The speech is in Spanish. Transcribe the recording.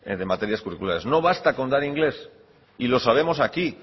de materias curriculares no basta con dar inglés y lo sabemos aquí